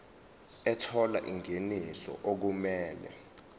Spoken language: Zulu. ethola ingeniso okumele